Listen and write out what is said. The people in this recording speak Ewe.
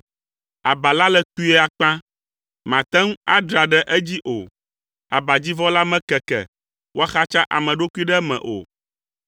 Aba la le kpuie akpã, màte ŋu adra ɖe edzi o. Abadzivɔ la mekeke woaxatsa ame ɖokui ɖe eme o.